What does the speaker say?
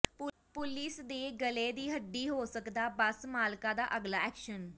police ਦੇ ਗਲੇ ਦੀ ਹੱਡੀ ਹੋ ਸਕਦਾ ਬੱਸ ਮਾਲਕਾਂ ਦਾ ਅਗਲਾ ਐਕਸ਼ਨ